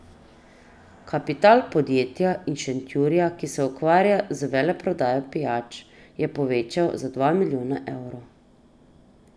Kapital podjetja iz Šentjurja, ki se ukvarja z veleprodajo pijač, je povečal za dva milijona evrov.